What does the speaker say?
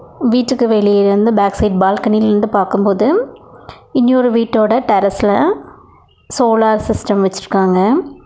வீட்டுக்கு வெளியேல இருந்து பேக் சைடு பால்கனியிலிருந்து பாக்கும்போது இன்னொரு வீட்டோட டெரஸ்ல சோலார் சிஸ்டம் வச்சிருக்காங்க.